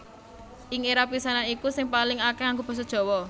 Ing éra pisanan iku sing paling akèh nganggo basa Jawa